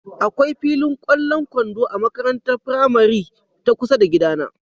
Akwai filin ƙwallon kwando a makarantar firamari ta kusa da gidana.